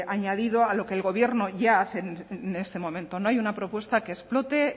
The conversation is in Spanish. añadido a lo que el gobierno ya hace en este momento no hay una propuesta que explote